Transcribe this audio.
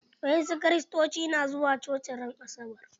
Wasu Kiristocin na zuwa coci ran asabar.